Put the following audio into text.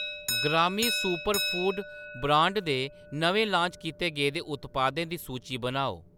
ग्रामी superfood brand दे नमें लान्च कीते गेदे उत्पादें दी सूची बनाओ ?